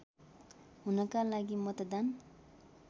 हुनका लागि मतदान